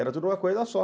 Era tudo uma coisa só.